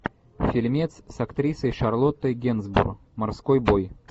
фильмец с актрисой шарлоттой генсбур морской бой